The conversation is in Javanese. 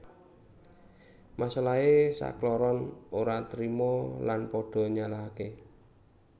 Masalahé sakloron ora terima lan pada nyalahaké